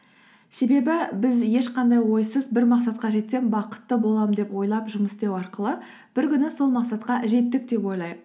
себебі біз ешқандай ойсыз бір мақсатқа жетсем бақытты боламын деп ойлап жұмыс істеу арқылы бір күні сол мақсатқа жеттік деп ойлайық